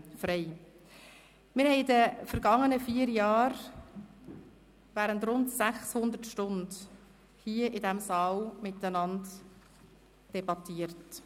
Wir haben in den vergangenen vier Jahren während rund 600 Stunden hier in diesem Saal miteinander debattiert.